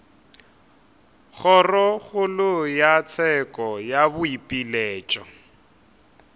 kgorokgolo ya tsheko ya boipiletšo